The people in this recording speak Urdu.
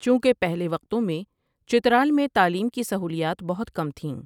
چونکہ پہلے وقتوں میں چترال میں تعلیم کی سہولیات بہت کم تھیں ۔